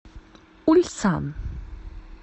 ульсан